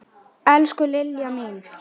Elsku Lilja mín.